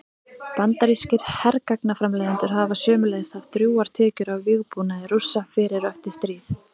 Bandarískir hergagnaframleiðendur hafa sömuleiðis haft drjúgar tekjur af vígbúnaði Rússa fyrir og eftir stríð.